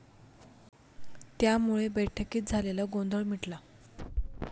त्यामुळे बैठकीत झालेला गोंधळ मिटला.